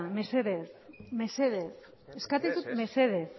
mesedez mesedez eskatzen dizut mesedez